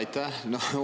Aitäh!